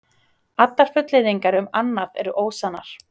Allar fullyrðingar um annað eru ósannar